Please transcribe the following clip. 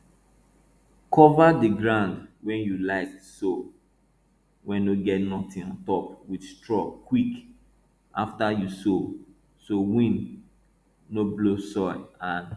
kova di groun wey you like sow wey no get notin on top wit straw quick afta you sow so win nor blow soil and